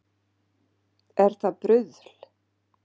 Er það bruðl